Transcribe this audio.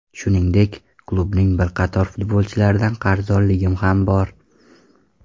Shuningdek, klubning bir qator futbolchilardan qarzdorligi ham bor.